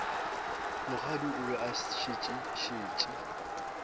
mokgadi o be a šetše